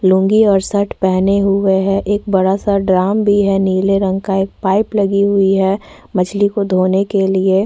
लूँगी और शर्ट पेहने हुए है एक बड़ा -सा ड्राम भी है नीले रंग का एक पाइप लगी हुई है मछली को धोने के लिए --